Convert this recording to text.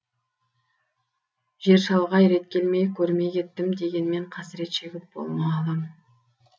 жер шалғай рет келмей көрмей кеттім дегенмен қасірет шегіп болма алаң